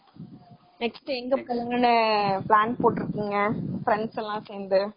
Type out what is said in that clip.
Next எங்க போகணும்னு plan போட்ருக்கீங்க friends எல்லாம் சேந்து?